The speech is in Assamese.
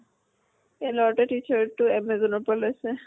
এই লʼৰা টোই t-shirt টো amazon ৰ পৰা লৈছে।